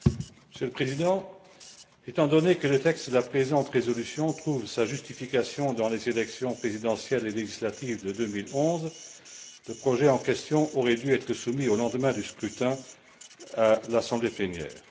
Monsieur le Président, étant donné que le texte de la présente résolution trouve sa justification dans les élections présidentielles et législatives de 2011, le projet en question aurait dû être soumis au lendemain du scrutin à l'assemblée plénière.